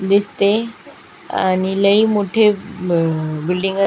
दिसते आणि लय मोठ्या बिल्डिंगा --